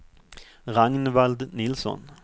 Ragnvald Nilsson